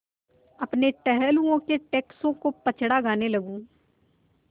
अपने टहलुओं के टैक्सों का पचड़ा गाने लगूँ